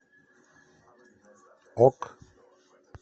ок